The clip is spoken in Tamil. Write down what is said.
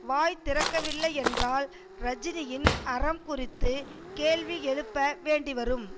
வாய் திறக்கவில்லையென்றால் ரஜினியின் அறம் குறித்து கேள்வி எழுப்ப வேண்டி வரும்